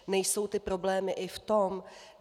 Nejsou ty problémy i v tom?